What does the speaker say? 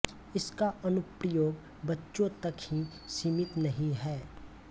इसका अनुप्रयोग बच्चों तक ही सीमित नहीं है